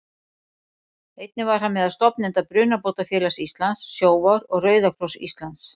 Einnig var hann meðal stofnenda Brunabótafélags Íslands, Sjóvár og Rauða kross Íslands.